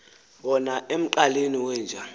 wona emqaleni wenja